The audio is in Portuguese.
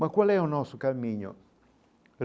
Mas qual é o nosso caminho?